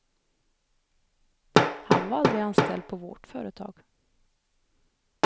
Han var aldrig anställd på vårt företag.